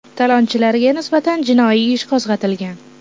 Talonchilarga nisbatan jinoiy ish qo‘zg‘atilgan.